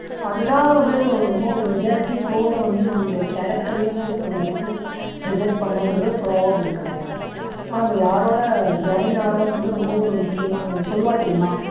அது தான் வந்து ரொம்ப ஒரு majority போல வந்து நம்மளுடைய character ரையும் சரி நம்ம life யயு decide பண்ணுன்றது ஒர்யு proverb இருக்கு so நம்ம யாரோட join ஆகுறோம்ன்றது ரொம்ப ஒரு முக்கியமான இது சொல்லுவா தெரியுமா